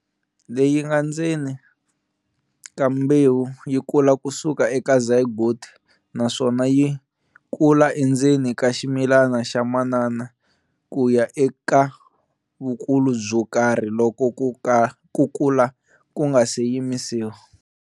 Leyinga ndzeni ka mbewu yikula kusuka eka zygote naswona yikula endzeni ka ximilani xa manana kuya eka vukulu byokarhi loko kukula kunga se yimisiwa.